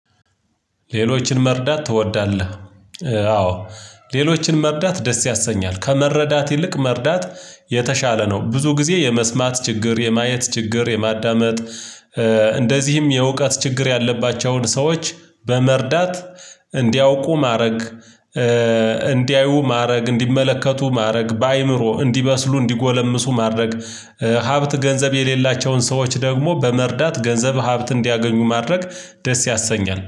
ሌሎችን መርዳት ትወዳለህ? አዎ ሌሎችን መርዳት ደስ ያሰኛል ከመረዳት ይልቅ መረዳት የተሻለ ነው ብዙ ጊዜ የመስማት ችግር የማየት ችግር የማዳመጥ እንደዚህም የእውቀት ችግር ያለባቸውን ሰዎች በመርዳት እንዲያውቁ ማድረግ ማድረግ፣ እንዲመለከቱ ማድረግ፣ በአእምሮ እንዲመስሉ እንዲጎለምሱ ማድረግ፣ ሀብት ገንዘብ የሌላቸውን ሰዎች ደግሞ በመርዳት ገንዘብ ሀብት እንዲያገኙ ማድረግ ደስ ያሰኛል።